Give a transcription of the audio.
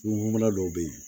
Kungokumana dɔw bɛ yen